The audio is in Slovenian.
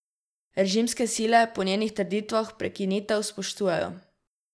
Režimske sile po njenih trditvah prekinitev spoštujejo.